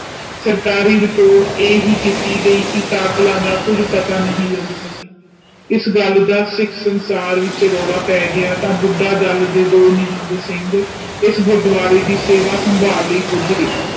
ਸਰਕਾਰੀ ਰਿਪੋਰਟ ਇਹ ਹੀ ਕੀਤੀ ਗਈ ਕਿ ਕਾਤਲਾਂ ਦਾ ਕੁਝ ਪਤਾ ਨੀ ਲੱਗ ਸਕਿਆ ਇਸ ਗੱਲ ਦਸ ਸਿੱਖ ਸੰਸਾਰ ਵਿਚ ਰੋਲ ਪੈ ਗਿਆ ਤਾ ਬੁੱਢਾ ਦੱਲ ਦੇ ਦੋ ਨਿਹੰਗ ਸਿੰਘ ਇਸ ਗੁਰਦਵਾਰੇ ਦੀ ਸੇਵਾ ਸੰਭਾਲ ਲਇ ਪੂਝ ਗਏ